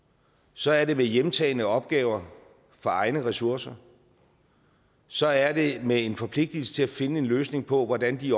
så er det med hjemtagne opgaver for egne ressourcer så er det med en forpligtelse til at finde en løsning på hvordan de